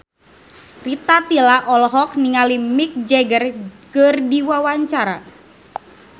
Rita Tila olohok ningali Mick Jagger keur diwawancara